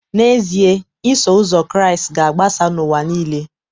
N’ezie, Iso Ụzọ Kraịst ga-agbasa n’ụwa nile